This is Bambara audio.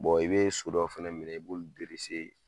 i bɛ so dɔ fɛnɛ minɛ i b'olu